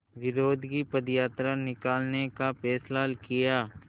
विरोध की पदयात्रा निकालने का फ़ैसला किया